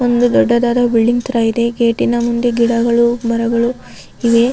ಒಂದು ದೊಡ್ಡದಾದ ಬಿಲ್ಡಿಂಗ್ ತರ ಇದೆ ಗೇಟಿ ನ ಮುಂದೆ ಗಿಡಗಳು ಮರಗಳು ಇವೆ .